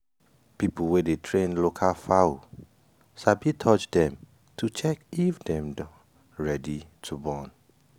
people wey dey train local fowl sabi touch dem to check if dem don ready to born.